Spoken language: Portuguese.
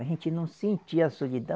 A gente não sentia solidão.